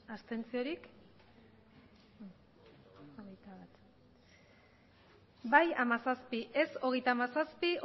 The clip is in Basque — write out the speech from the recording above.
abstentzioak bai hamazazpi ez hogeita hamazazpi